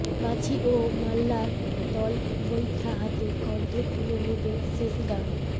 মাঝি ও মাল্লার দল বৈঠা হাতে কণ্ঠে তুলে নেবে শেষ গান